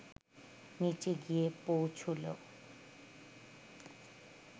নিচে গিয়ে পৌঁছুলো